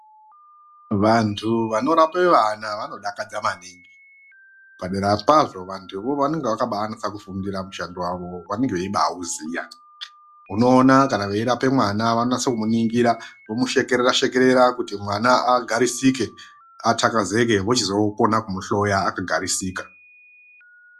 Vantu vanorapa vana vanodakara maningi padera pazvo vantuvo vanonga vakanyasa kufundira mushando vavo vanenge veibauziya. Unoona kana veirapa mwana vanonese kuningira vomushekerera-shekerera kuti mwana agarisike atakazeke vochizokona kumuhloya akagarisika.